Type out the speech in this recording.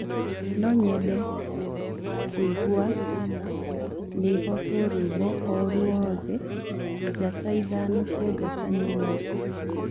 no nyende kuĩgwa nihetwo rwĩmbo o ruothe njata ithano cĩa njata nini